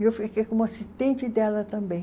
E eu fiquei como assistente dela também.